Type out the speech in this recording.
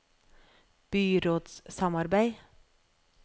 byrådssamarbeid